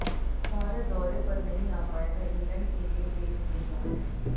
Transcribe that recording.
भारत दौरे पर नहीं आ पाएगा इंग्लैंड के ये तेज गेंदबाज